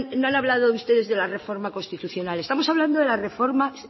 no han hablado ustedes de la reforma constitucional estamos hablando de las reformas